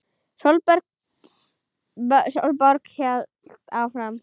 Sólborg hélt áfram.